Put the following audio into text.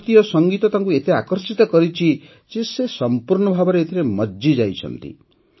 ଭାରତୀୟ ସଙ୍ଗୀତ ତାଙ୍କୁ ଏତେ ଆକର୍ଷିତ କରିଛି ଯେ ସେ ସମ୍ପୂର୍ଣ୍ଣ ଭାବେ ଏଥିରେ ମଜ୍ଜିଯାଇଛନ୍ତି